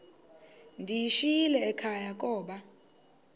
ndiyishiyile ekhaya koba